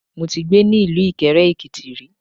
Mo ti gbé ni ilú Ìkẹrẹ-Èkìti ri